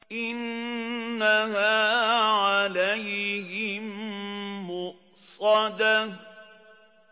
إِنَّهَا عَلَيْهِم مُّؤْصَدَةٌ